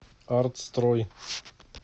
артстрой